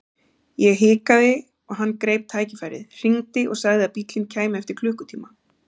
Ég hikaði og hann greip tækifærið, hringdi og sagði að bíllinn kæmi eftir klukkutíma.